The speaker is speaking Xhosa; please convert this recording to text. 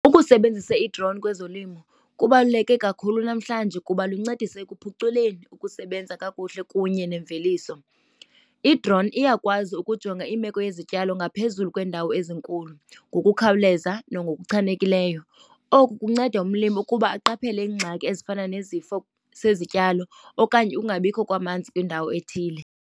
Ukusebenzisa i-drone kwezolimo kubaluleke kakhulu namhlanje kuba luncedisa ekuphuculeni ukusebenza kakuhle kunye nemveliso. I-drone iyakwazi ukujonga imeko yezityalo ngaphezulu kweendawo ezinkulu ngokukhawuleza nangokuchanekileyo. Oku kunceda umlimi ukuba aqaphele iingxaki ezifana nezifo zezityalo okanye ukungabikho kwamanzi kwindawo ethile.